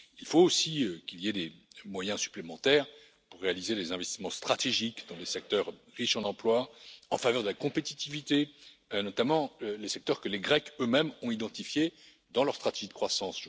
Il faut aussi qu'il y ait des moyens supplémentaires pour réaliser des investissements stratégiques dans les secteurs riches en emplois, en faveur de la compétitivité, notamment les secteurs que les Grecs, eux mêmes, ont identifiés dans leur stratégie de croissance.